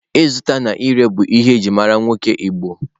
Ịzụta na ire bụ ihe e ji mara nwoke igbo.